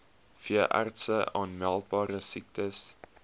veeartse aanmeldbare siektes